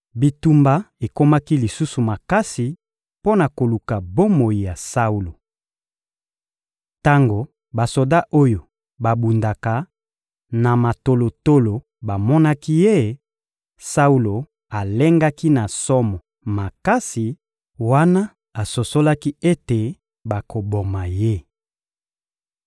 Bitumba ekomaki lisusu makasi mpo na koluka bomoi ya Saulo. Tango basoda oyo babundaka na matolotolo bamonaki ye, Saulo alengaki na somo makasi wana asosolaki ete bakoboma ye.